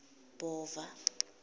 bhova